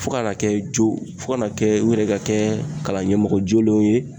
Fo kana kɛ jo, fo kana kɛ u yɛrɛ ka kɛ kalan ɲɛmɔgɔ jolenw ye